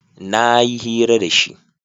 na yi hira da shi